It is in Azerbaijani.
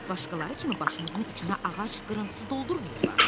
Başqaları kimi başımızın içinə ağac qırıntısı doldurmayıblar.